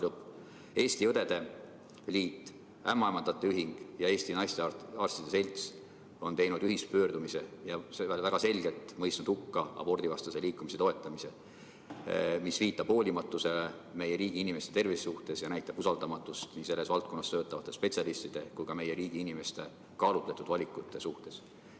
" Eesti Õdede Liit, Eesti Ämmaemandate Ühing ja Eesti Naistearstide Selts on teinud ühispöördumise ja see on väga selgelt mõistnud hukka abordivastase liikumise toetamise, mis viitab hoolimatusele meie riigi inimeste tervise suhtes ja näitab usaldamatust nii selles valdkonnas töötavate spetsialistide kui ka meie riigi inimeste kaalutletud valikute vastu.